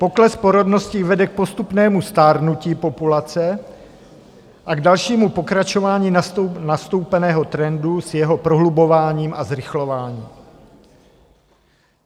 Pokles porodnosti vede k postupnému stárnutí populace a k dalšímu pokračování nastoupeného trendu s jeho prohlubováním a zrychlováním.